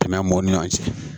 Tɛmɛ m'o ni ɲɔ cɛ